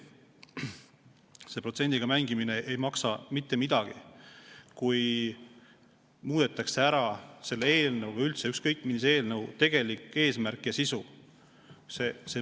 See protsendiga mängimine ei maksa mitte midagi, kui muudetakse ära selle eelnõu või üldse ükskõik millise eelnõu tegelik eesmärk ja sisu.